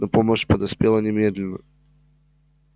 но помощь подоспела немедленно